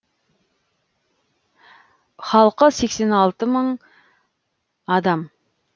халқы сексен алты мың адам